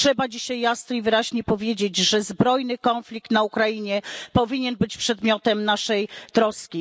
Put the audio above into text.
I trzeba dzisiaj jasno i wyraźnie powiedzieć, że zbrojny konflikt na Ukrainie powinien być przedmiotem naszej troski.